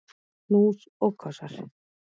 Knús og kossar.